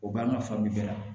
O b'an ka fali bɛɛ la